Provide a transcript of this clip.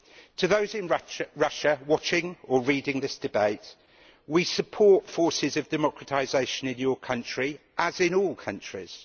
To those in Russia watching or reading this debate, we support forces of democratisation in your country, as in all countries.